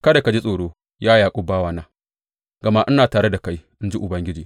Kada ka ji tsoro, ya Yaƙub bawana, gama ina tare da kai, in ji Ubangiji.